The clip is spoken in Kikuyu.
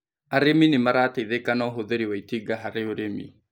Arĩmi nĩmarateithika na ũhũthĩri wa itinga harĩurĩmi